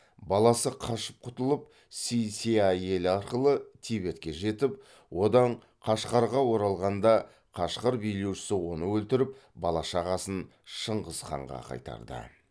баласы қашып құтылып си ся елі арқылы тибетке жетіп одан қашқарға оралғанда қашқар билеушісі оны өлтіріп балашағасын шыңғыс ханға қайтарды